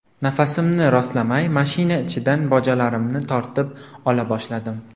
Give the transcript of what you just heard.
Nafasimni rostlamay, mashina ichidan bojalarimni tortib ola boshladim.